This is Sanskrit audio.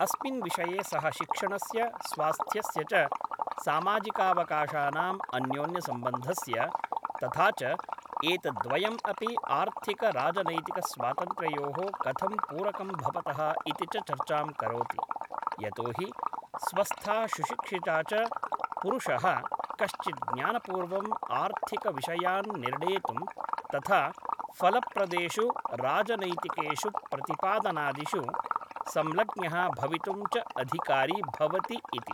अस्मिन् विषये सः शिक्षणस्य स्वास्थ्यस्य च सामाजिकावकाशानाम् अन्योन्यसम्बन्धस्य, तथा च एतद्द्वयम् अपि आर्थिक राजनैतिकस्वातन्त्र्ययोः कथं पूरकं भवतः इति च चर्चां करोति, यतोहि स्वस्थः सुशिक्षितः च पुरुषः कश्चित् ज्ञानपूर्वम् आर्थिकविषयान् निर्णेतुं तथा फलप्रदेषु राजनैतिकेषु प्रतिपादनादिषु संलग्नः भवितुं च अधिकारी भवति इति।